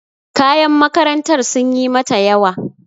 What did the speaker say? Kayan makarantar sunyi mata yawa.